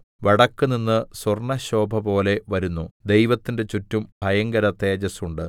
വടക്കുനിന്ന് സ്വർണ്ണശോഭപോലെ വരുന്നു ദൈവത്തിന്റെ ചുറ്റും ഭയങ്കര തേജസ്സുണ്ട്